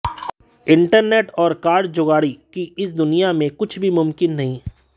internet और कारगुजारी की इस दुनिया में कुछ भी मुमकिन नहीं